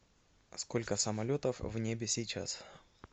сколько самолетов в небе сейчас